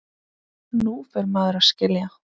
Nú fer maður að skilja!